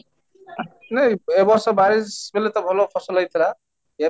ନାଇଁ ଏ ବର୍ଷ ବେଳେ ତ ଭଲ ଫସଲ ହେଇଥିଲା ଏ